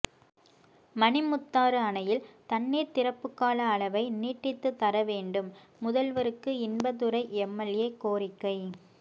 மணிமுத்தாறு அணையில் தண்ணீர் திறப்பு கால அளவை நீட்டித்துத்தர வேண்டும் முதல்வருக்கு இன்பதுரை எம்எல்ஏ கோரிக்கை